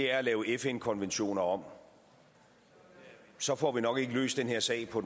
er at lave fn konventioner om så får vi nok ikke løst den her sag på